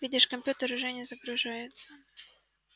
видишь компьютер не загружается